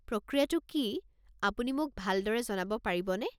প্ৰক্ৰিয়াটো কি, আপুনি মোক ভালদৰে জনাব পাৰিবনে?